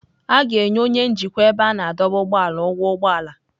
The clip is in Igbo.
A ga-enye onye njikwa ebe a na-adọba ụgbọala ụgwọ ụgbọ ala.